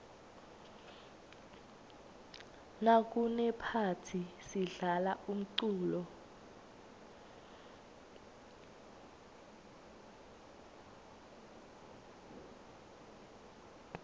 nakunephathi sidlala umculo